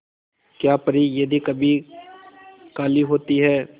क्या परी यदि कभी काली होती है